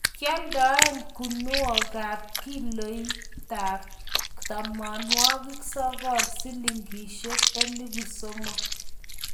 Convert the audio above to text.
kikioldoen guniekab kiloitab tomonwogik sokol silingisiek elipu somok